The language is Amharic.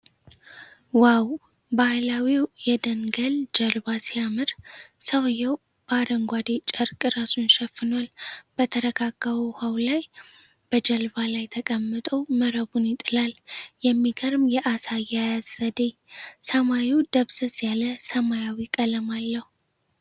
ዋው! ባህላዊው የደንገል ጀልባ ሲያምር! ሰውየው በአረንጓዴ ጨርቅ ራሱን ሸፍኗል። በተረጋጋው ውሃ ላይ በጀልባው ላይ ተቀምጦ መረቡን ይጥላል። የሚገርም የዓሣ አያያዝ ዘዴ። ሰማዩ ደብዘዝ ያለ ሰማያዊ ቀለም አለው።